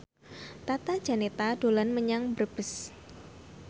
Tata Janeta dolan menyang Brebes